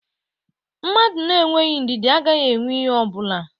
A man without patience is without anything.